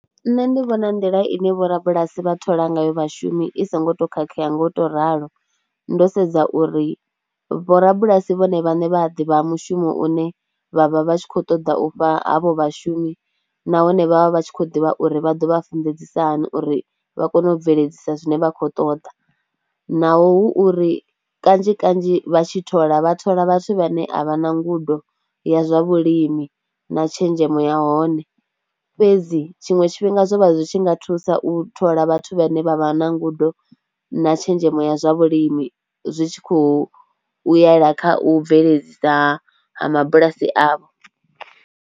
Nṋe ndi vhona nḓila ine vhorabulasi vha thola ngayo vhashumi i songo to khakhea nga u tou ralo ndo sedza uri vhorabulasi vhone vhaṋe vha a ḓivha mushumo une vha vha vha tshi khou ṱoḓa u fha havho vhashumi nahone vha vha vha tshi khou ḓivha uri vha ḓo vha funḓedziwe hani uri vha kone u bveledzisa zwine vha khou ṱoḓa. Naho hu uri kanzhi kanzhi vha tshi thola, vha thola vhathu vha ne a vha na ngudo ya zwa vhulimi na tshenzhemo ya hone fhedzi tshiṅwe tshifhinga zwo vha zwi tshi nga thusa u thola vhathu vha ne vha vha na ngudo na tshenzhemo ya zwa vhulimi zwi tshi khou u yela kha u bveledzisa ha mabulasi avho.